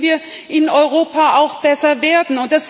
Da müssen wir in Europa auch besser werden.